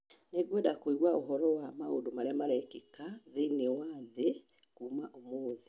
Nĩngwenda kũigua ũhoro wa maũndũ marĩa marekĩka thĩinĩ wa thĩ kuuma ũmũthĩ.